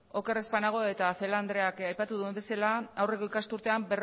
oker ez banago eta celaá andreak aipatu duen bezala aurreko ikasturtean